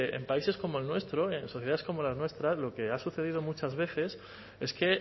en países como el nuestro en sociedades como la nuestra lo que ha sucedido muchas veces es que